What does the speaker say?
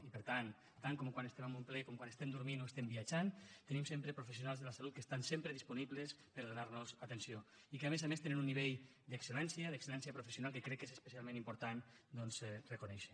i per tant tant quan estem en un ple com quan estem dormint o estem viatjant tenim sempre professionals de la salut que estan sempre disponibles per a donar los atenció i que a més a més tenen un nivell d’excel·lència d’excel·lència professional que crec que és especialment important doncs reconèixer